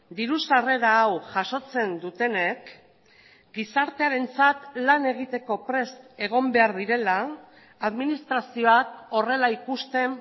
diru sarrera hau jasotzen dutenek gizartearentzat lan egiteko prest egon behar direla administrazioak horrela ikusten